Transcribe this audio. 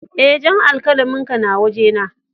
Eh, jan alkalamin ka na waje na.